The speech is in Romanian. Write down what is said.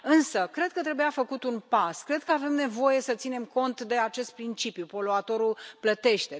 Însă cred că trebuia făcut un pas, cred că avem nevoie să ținem cont de acest principiu poluatorul plătește.